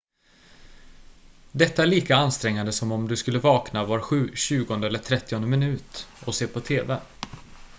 detta är lika ansträngande som om du skulle vakna var tjugonde eller trettionde minut och se på tv